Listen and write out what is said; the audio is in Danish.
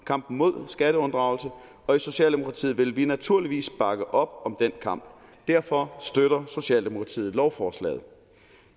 kampen mod skatteunddragelse og i socialdemokratiet vil vi naturligvis bakke op om den kamp derfor støtter socialdemokratiet lovforslaget